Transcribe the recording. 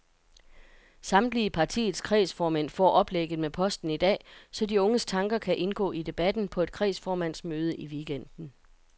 Samtlige partiets kredsformænd får oplægget med posten i dag, så de unges tanker kan indgå i debatten på et kredsformandsmøde i weekenden.